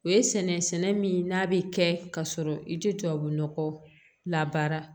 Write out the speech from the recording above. O ye sɛnɛ min n'a bɛ kɛ ka sɔrɔ i tɛ tubabunɔgɔ labaara